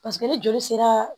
Paseke ni joli sera